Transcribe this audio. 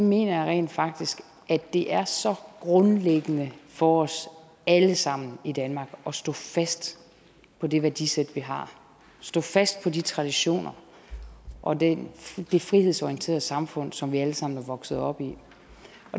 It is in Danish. mener jeg rent faktisk at det er så grundlæggende for os alle sammen i danmark at stå fast på det værdisæt vi har at stå fast på de traditioner og det det frihedsorienterede samfund som vi alle sammen er vokset op i